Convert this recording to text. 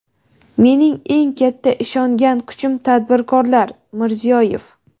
Mening eng katta ishongan kuchim tadbirkorlar — Mirziyoyev.